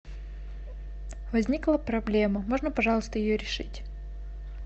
возникла проблема можно пожалуйста ее решить